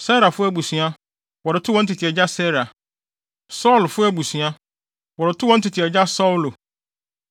Serafo abusua, wɔde too wɔn tete agya Serah; Saulfo abusua, wɔde too wɔn tete agya Saulo.